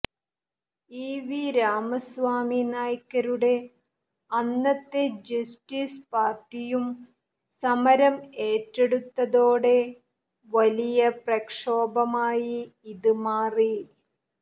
E V Ramaswami നായ്ക്കരുടെ അന്നത്തെ Justice പാര്ട്ടിയും സമരം ഏറ്റെടുത്തതോടെ വലിയ പ്രക്ഷോഭമായി ഇത് മാറി